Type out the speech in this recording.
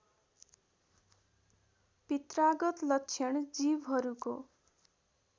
पित्रागत लक्षण जीवहरूको